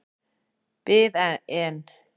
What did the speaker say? Bið en.